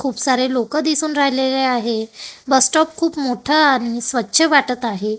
खूप सारे लोकं दिसून राहिलेले आहे बस स्टॉप खूप मोठा आणि स्वच्छ वाटत आहे.